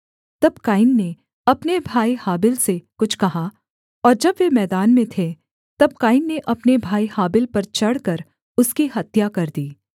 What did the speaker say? तब कैन ने अपने भाई हाबिल से कुछ कहा और जब वे मैदान में थे तब कैन ने अपने भाई हाबिल पर चढ़कर उसकी हत्या कर दी